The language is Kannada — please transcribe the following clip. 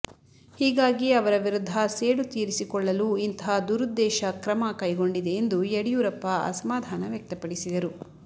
ಹೀಗಾಗಿ ಅವರ ವಿರುದ್ಧ ಸೇಡು ತೀರಿಸಿಕೊಳ್ಳಲು ಇಂತಹ ದುರುದ್ದೇಶ ಕ್ರಮ ಕೈಗೊಂಡಿದೆ ಎಂದು ಯಡಿಯೂರಪ್ಪ ಅಸಮಾಧಾನ ವ್ಯಕ್ತಪಡಿಸಿದರು